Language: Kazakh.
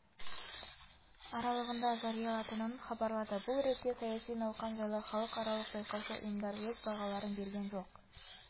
аралығында жариялатынын хабарлады бұл ретте саяси науқан жайлы халықаралық байқаушы ұйымдар өз бағаларын берген жоқ